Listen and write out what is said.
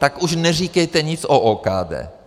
Tak už neříkejte nic o OKD.